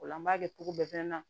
O la n b'a kɛ cogo bɛɛ fɛnɛ na